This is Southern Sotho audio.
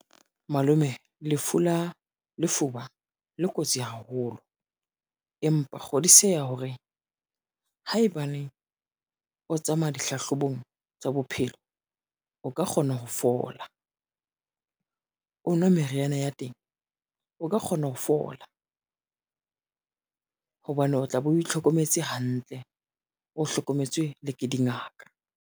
Malome lefu la lefuba le kotsi haholo, empa kgodiseha hore, haebaneng o tsamaya dihlahlobong tsa bophelo o ka kgona hona ho fola, o nwe meriana ya teng o ka kgona ho fola. Hobane o tla be o itlhokometse hantle, o hlokometswe le ke dingaka.